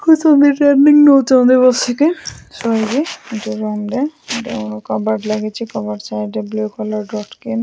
ନଉଚନ୍ତି ବସିକି। କବାଟ ଲାଗିଚି କବାଟ ସାଇଡ଼୍ ରେ ବ୍ଲୂ କଲର୍ ର ସ୍କ୍ରୀନ --